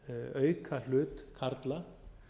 auka hlut karla